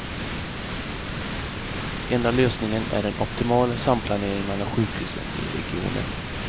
Enda lösningen är en optimal samplanering mellan sjukhusen i regionen.